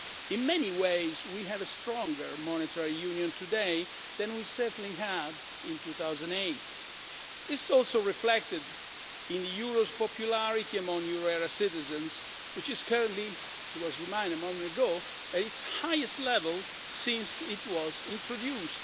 In many ways we have a stronger monetary union today than we had in 2008. This is also reflected in the euro's popularity among euro area citizens, which is currently as I was reminded a moment ago at its highest level since it was introduced.